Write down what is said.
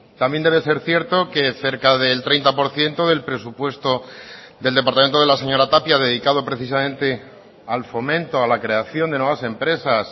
también debe ser cierto que cerca del treinta por ciento del presupuesto del departamento de la señora tapia dedicado precisamente al fomento a la creación de nuevas empresas